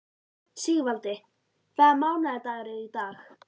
Sigvaldi, hvaða mánaðardagur er í dag?